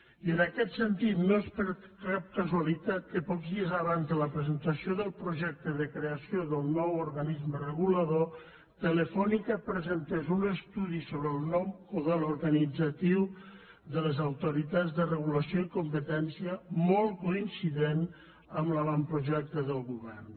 i en aquest sentit no és per cap casualitat que pocs dies abans de la presentació del projecte de creació del nou organisme regulador telefònica presentés un estudi sobre el nou model organitzatiu de les autoritats de regulació i competència molt coincident amb l’avantprojecte del govern